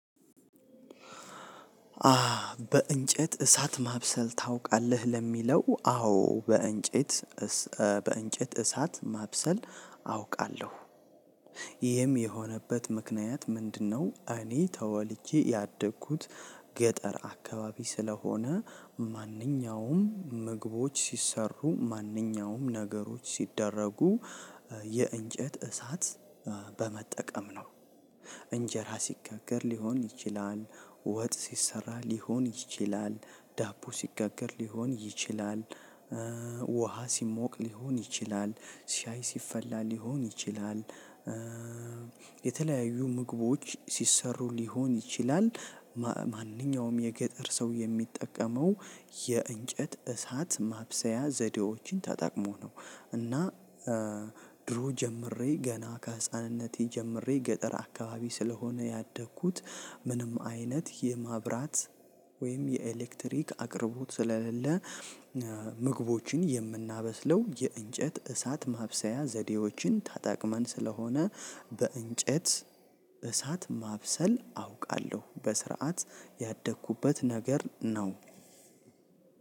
በእንጨት እሳት ማብሰል ታውቃለህ ለሚለው አዎ በእንጨት በእንጨት እሳት ማብሰል አውቃለሁ ይህም የሆነበት ምክንያት ምንድነው? እኔ ተወልጄ ያደግኩት ገጠር አካባቢ ስለሆነ ማንኛውም ምግቦች ሲሰሩ ማንኛውም ነገሮች ሲደረጉ የእንጨት እሳት በመጠቀም ነው። እንጀራ ሲጋገር ሊሆን ይችላል ወጥ ሲሰራ ሊሆን ይችላል ዳቦ ሲጋገር ሊሆን ይችላል። ውሃ ሲሞቅ ሊሆን ይችላል ሻይ ሲፈላ ሊሆን ይችላል። የተለያዩ ምግቦች ሲሰሩ ሊሆን ይችላል። ማንኛውም የገጠር ሰው የሚጠቀመው የእንጨት እሳት ማብሰያ ዘዴዎችን ተጣቅሞ ነው። እና ድሮ ጀምሬ ገና ከህፃንነቴ ጀምሬ ገጠር አካባቢ ስለሆነ ያደግኩት ምንም አይነት የማብራት ወይም የኤሌክትሪክ አቅርቦት ስለሌለ። ምግቦችን የምናበስለው የእንጨት እሳት ማብሰያ ዘዴዎችን ታጣቅመን ስለሆነ በእንጨት እሳት ማብሰል አውቃለሁ በስርዓት ያደግኩበት ነገር ነው።